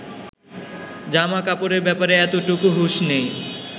জামাকাপড়ের ব্যাপারে এতটুকু হুঁশ নেই